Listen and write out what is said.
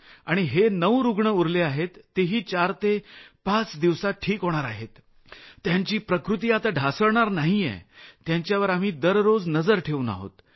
आणि हे 9 रूग्ण आहेत तेही 4 ते 5 दिवसांत ठीक होणार आहेत त्यांची प्रकृती आता ढासळणार नाहीये त्यांच्यावर आम्ही रोज लक्ष ठेवून आहोत